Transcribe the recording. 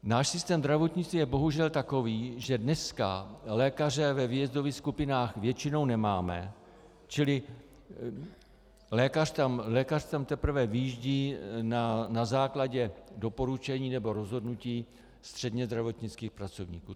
Náš systém zdravotnictví je bohužel takový, že dneska lékaře ve výjezdových skupinách většinou nemáme, čili lékař tam teprve vyjíždí na základě doporučení nebo rozhodnutí středně zdravotnických pracovníků.